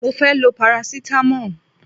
Mo fẹ́ lo parasitamọ́ọ̀.